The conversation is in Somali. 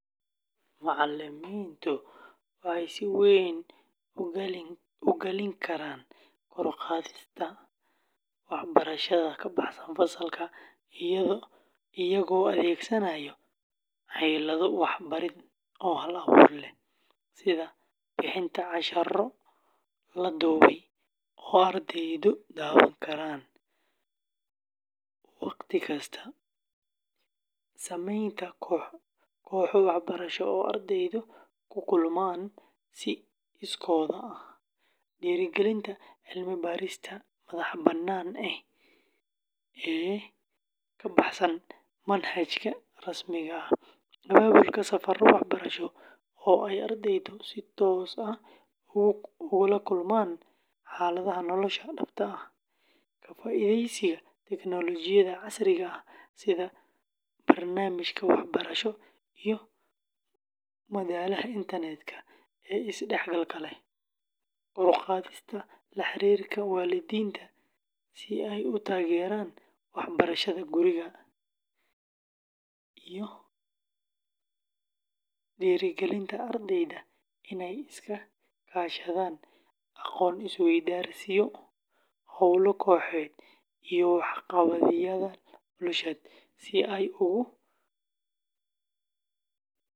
Macalimiintu waxay si weyn ugaalin karaan kor u qaadista waxbarashada ka baxsan fasalka iyagoo adeegsanaaya xeelado waxbarid oo hal-abuur leh sida bixinta casharro la duubay oo ardaydu daawan karaan wakhti kasta, sameynta kooxo waxbarasho oo ardaydu ku kulmaan si iskood ah, dhiirrigelinta cilmi-baarista madax-bannaan ee ka baxsan manhajka rasmiga ah, abaabulka safarro waxbarasho oo ay ardaydu si toos ah ugu la kulmaan xaaladaha nolosha dhabta ah, ka faa’iidaysiga tiknoolajiyadda casriga ah sida barnaamijyada waxbarasho iyo madalaha internetka ee isdhexgalka leh, kor u qaadista la xiriirka waalidiinta si ay u taageeraan waxbarashada guriga, iyo dhiirrigelinta ardayda inay iska kaashadaan aqoon-is-weydaarsiyo, hawlo kooxeed iyo waxqabadyada bulshada si ay ugu tababartaan.